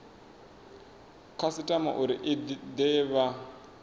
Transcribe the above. khasitama uri i de vha